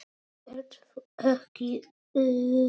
Ert þú ekki Örn?